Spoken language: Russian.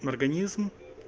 организм